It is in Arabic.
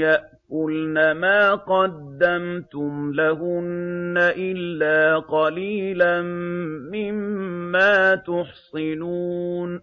يَأْكُلْنَ مَا قَدَّمْتُمْ لَهُنَّ إِلَّا قَلِيلًا مِّمَّا تُحْصِنُونَ